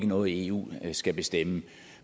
noget eu skal bestemme